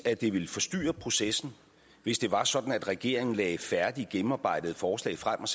at det ville forstyrre processen hvis det var sådan at regeringen lagde færdige gennemarbejdede forslag frem og